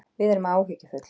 Við erum áhyggjufull